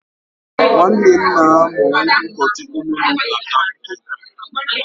nwanne nna m bụ ụkọchukwu na ụlọ ụka Katọlik